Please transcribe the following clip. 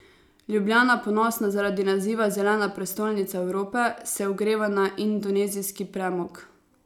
Ljubljana, ponosna zaradi naziva zelena prestolnica Evrope, se ogreva na indonezijski premog.